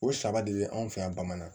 O saba de bɛ anw fɛ yan bamanan